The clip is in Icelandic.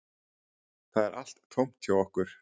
Það er allt tómt hjá okkur